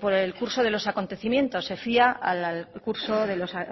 por el curso de los acontecimientos se fía al curso de los